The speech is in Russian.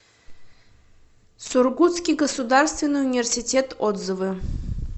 сургутский государственный университет отзывы